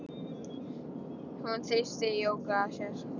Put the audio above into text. Hún þrýsti Jóku að sér.